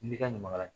N'i ka ɲamakalala